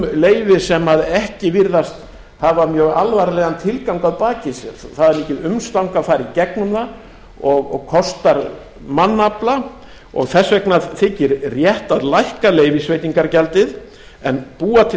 um leyfi sem ekki virðast hafa mjög alvarlegan tilgang að baki sér það er mikið umstang að fara í gegnum það og kostar mannafla og þess vegna þykir rétt að lækka leyfisveitingargjaldið en búa til